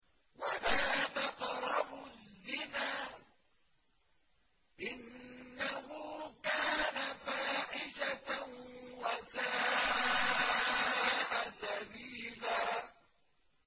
وَلَا تَقْرَبُوا الزِّنَا ۖ إِنَّهُ كَانَ فَاحِشَةً وَسَاءَ سَبِيلًا